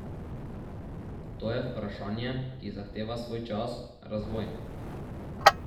To je vprašanje, ki zahteva svoj čas, razvoj.